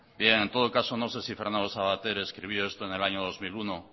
bien en todo caso no sé si fernando sabater escribió esto en el año dos mil uno